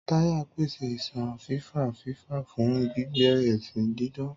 Táyà ń pèsè iṣan fífà-fífà fún gbígbé ẹṣin dídán.